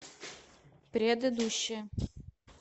предыдущая